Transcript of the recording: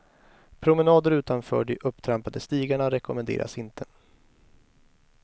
Promenader utanför de upptrampade stigarna rekommenderas inte.